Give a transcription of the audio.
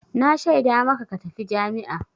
Na shaida maka ka tafi jami'a!